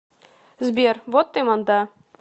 сбер вот ты манда